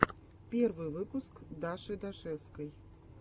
первый выпуск даши дашевской